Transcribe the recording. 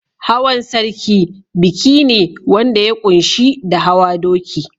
Hawan sarki biki ne wanda ya ƙunshi da hawa doki.